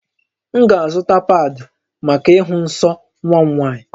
M ga-azụta paadị̀ maka ịhụ nsọ nwa m nwaanyị